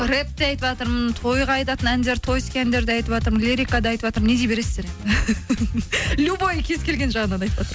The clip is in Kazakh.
рэп те айтыватырмын тойға айтатын әндер тойский әндерді айтыватырмын лирикада айтыватрмын не дей бересіздер любой кез келген жағынан айтыватырмын